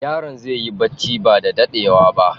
Yaron zai yi barci ba da daɗewa ba.